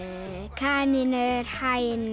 kanínur hænur